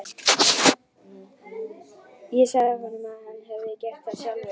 Ég sagði honum að hann hefði gert það sjálfur.